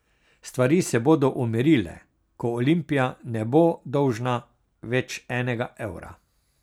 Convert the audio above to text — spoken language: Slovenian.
Stvari se bodo umirile, ko Olimpija ne bo dolžna več enega evra.